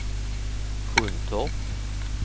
Sjuntorp